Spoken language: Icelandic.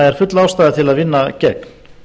er full ástæða til að vinna gegn